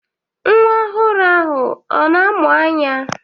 Nwa ọhụrụ ahụ ọ na amụ anya?